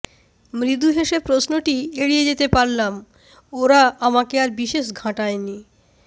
মৃদু হেসে প্রশ্নটি এড়িয়ে যেতে পারলাম ওরা আমাকে আর বিশেষ ঘাঁটায়নি